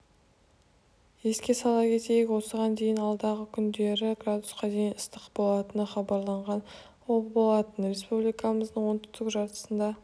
еске сала кетейік осыған дейін алдағы күндері градусқа дейін ыстық болатыны хабарланған болатын республикамыздың оңтүстік жартысында